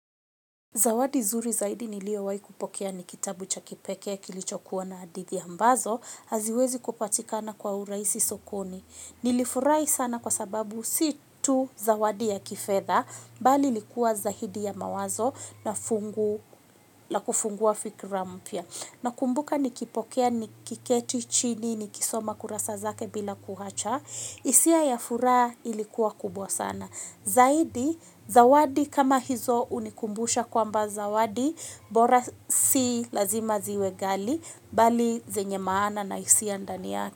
Zawadi zuri zaidi niliowai kupokea ni kitabu cha kipekee kilichokuwa na hadithi ambazo, haziwezi kupatikana kwa uraisi sokoni. Nilifurai sana kwa sababu si tu zawadi ya kifedha, bali likuwa zaidi ya mawazo na kufungua fikira mpya. Nakumbuka nikipokea nikiketi chini nikisoma kurasa zake bila kuhacha, isia ya furaa ilikuwa kubwa sana. Zaidi, zawadi kama hizo unikumbusha kwamba zawadi, bora si lazima ziwe gali, bali zenye maana na isia ndani yake.